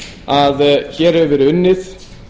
að hér hefur verið unnið